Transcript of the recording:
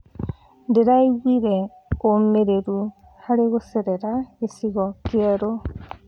Ndĩraiguire ũmĩrĩru harĩ gũcerera gĩcigo kĩerũ.